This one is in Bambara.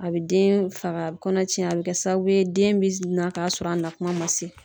A bɛ den faga a bɛ kɔnɔ cɛn a bɛ kɛ sababu ye den bɛ na k'a sɔrɔ a nakuma man se.